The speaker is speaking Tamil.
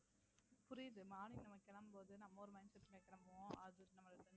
புரியுது morning நம்ம கிளம்பும் போது நம்ம ஒரு mind set ல கிளம்புவோம் office